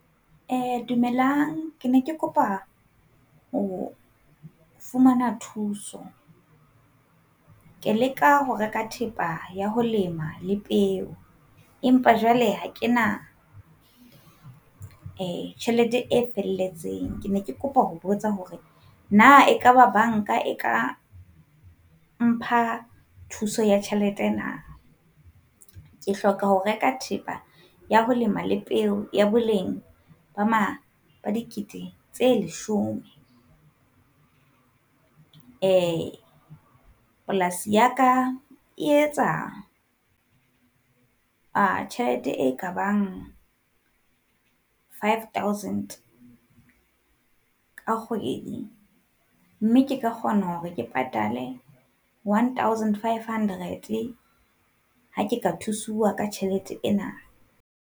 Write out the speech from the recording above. Eh dumelang, ke ne ke kopa ho fumana thuso. Ke leka ho reka thepa ya ho lema le peo empa jwale ha kena eh tjhelete e felletseng, ke ne ke kopa ho botsa hore na ekaba banka e ka mpha thuso ya tjhelete na? Ke hloka ho reka thepa ya ho lema le peo ya boleng ba mang ba dikete tse leshome. Eh polasi ya ka e etsa tjhelete e kabang five thousand ka kgwedi, mme ke ka kgona hore ke patale one thousand, five hundred ha ke ka tshusuwa ka tjhelete ena.